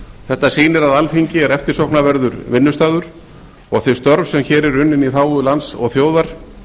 þetta sýnir að alþingi er eftirsóknarverður vinnustaður og þau störf sem hér eru unnin í þágu lands og þjóðar